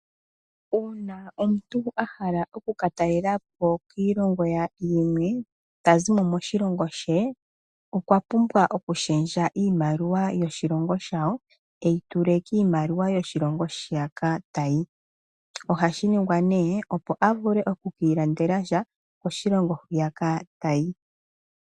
Uuna omuntu a hala okukala oku ka talela po kiilongo yimwe ta zi moshilongo she okwa pumbwa okushendja iimaliwa yoshilongo shawo e yi tule miimaliwa yoshilongo shiyaka ta yi. Ohashi ningwa opo a vule oku ka ilandela sha koshilongo hwiyaka ta yi.